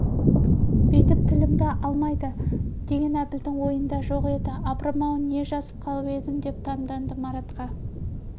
бүйтіп тілімді алмайды деген әбілдің ойында жоқ еді апырым-ау не жазып қалып едім деп таңданды маратқа